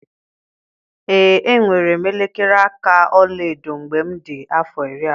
Ee enwere m elekere aka ọla edo mgbe m dị afọ iri abụọ.